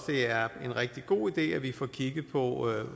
det er en rigtig god idé at vi får kigget på hvor